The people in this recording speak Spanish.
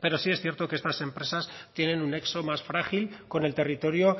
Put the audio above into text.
pero sí es cierto que estas empresas tienen un nexo más frágil con el territorio